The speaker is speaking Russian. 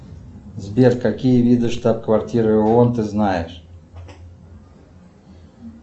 сбер какие виды штаб квартиры оон ты знаешь